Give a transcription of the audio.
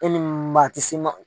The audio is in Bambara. E ni ti si ma